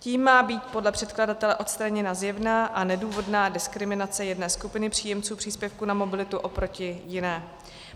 Tím má být podle předkladatele odstraněna zjevná a nedůvodná diskriminace jedné skupiny příjemců příspěvku na mobilitu oproti jiné.